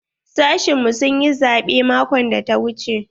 Sashi na mu sun yi zabe maƙon da ta wuche.